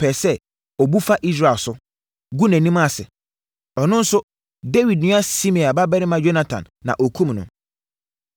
pɛɛ sɛ ɔbu fa Israel so, gu nʼanim ase. Ɔno nso, Dawid nua Simea babarima Yonatan na ɔkumm no.